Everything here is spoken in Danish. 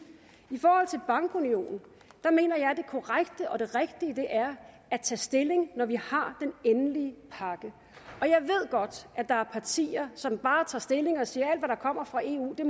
i forhold til bankunionen mener jeg at det korrekte og det rigtige er at tage stilling når vi har den endelige pakke og jeg ved godt at der er partier som bare tager stilling og siger at der kommer fra eu per